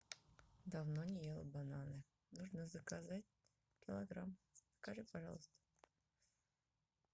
давно не ела бананы нужно заказать килограмм закажи пожалуйста